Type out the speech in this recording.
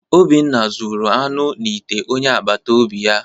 Obinna zuru anụ n’ite onye agbata obi ya